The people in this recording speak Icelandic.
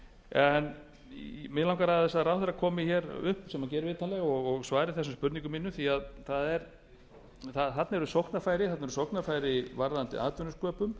en mig langar til að ráðherra komi upp sem hann gerir vitanlega og svari þessum spurningum mínum því þarna eru sóknarfæri varðandi atvinnusköpun